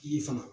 Ye fana